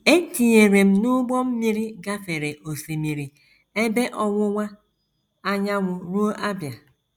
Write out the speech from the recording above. E tinyere m n’ụgbọ mmiri gafere Osimiri Ebe Ọwụwa Anyanwụ ruo Abia.